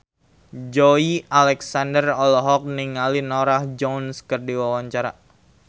Joey Alexander olohok ningali Norah Jones keur diwawancara